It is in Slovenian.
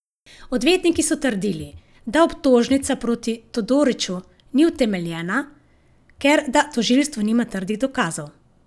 Odvetniki so trdili, da obtožnica proti Todoriću ni utemeljena, ker da tožilstvo nima trdnih dokazov.